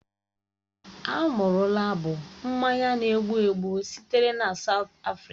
Amarula bụ mmanya na-egbu egbu sitere na Saụt Afrịka.